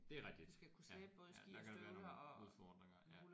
Det er rigtigt ja ja der kan der være nogle udfordringer ja